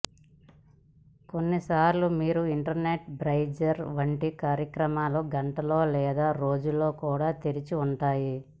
కొన్నిసార్లు మీ internet browser వంటి కార్యక్రమాలు గంటల్లో లేదా రోజుల్లో కూడా తెరిచి ఉంటాయి